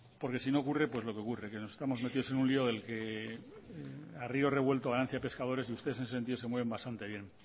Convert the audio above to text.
porque si no ocurre lo que ocurre que nos estamos metidos en un lio en el que a rio revuelto ganancias pescadores y ustedes en ese sentido se mueven bastante bien